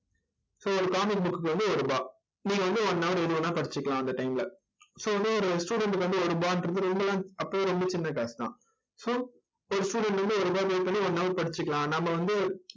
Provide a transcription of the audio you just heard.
so ஒரு comic book க்கு வந்து ஒரு ரூபாய். நீங்க வந்து one hour எது வேணா படிச்சுக்கலாம் அந்த time ல so வந்து ஒரு student க்கு வந்து ஒரு ரூபாங்கறது அப்பவெல்லாம் ரொம்ப சின்னக் காசு தான். so ஒரு student வந்து ஒரு ரூபாய் pay பண்ணி one hour படிச்சுக்கலாம். நாம வந்து